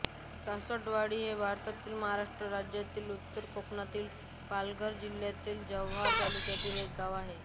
कासटवाडी हे भारतातील महाराष्ट्र राज्यातील उत्तर कोकणातील पालघर जिल्ह्यातील जव्हार तालुक्यातील एक गाव आहे